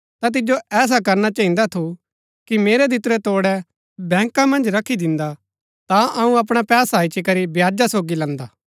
ता तिजो ऐसा करना चहिन्दा थु कि मेरै दितुरै तोड़ै बैंका मन्ज रखी दिन्दा ता अऊँ अपणा पैसा इच्ची करी ब्याजा सोगी लैन्दा